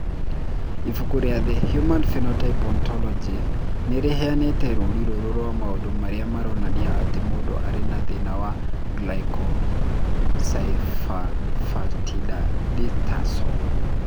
Ibuku rĩa The Human Phenotype Ontology nĩ rĩheanĩte rũũri rũrũ rwa maũndũ marĩa maronania atĩ mũndũ arĩ na thĩna wa Glycosylphosphatidylinositol.